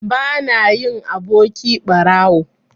Bana yin aboki ɓarawo.